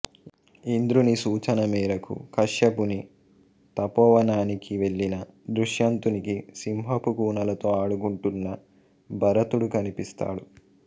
ఇంద్రుని సూచన మేరకు కశ్యపుని తపోవనానికి వెళ్ళిన దుష్యంతునికి సింహపు కూనలతో ఆడుకుంటున్న భరతుడు కనిపిస్తాడు